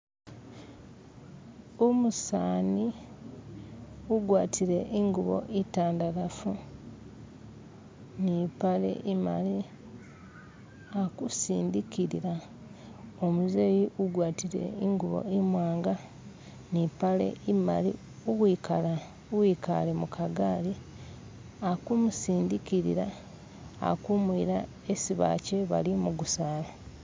Umusani ugwatile ingubo itandalafu ni mpale imali alikusindikilila umuzeyi ugwatile ingubo imwanga ni impale imaali uwikale mukagali akumusindikilila alikumuyila hasi bakye bali mugusaala